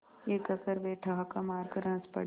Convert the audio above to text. यह कहकर वे ठहाका मारकर हँस पड़े